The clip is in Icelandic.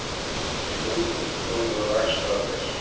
Hlutum stolið úr rakstrarvél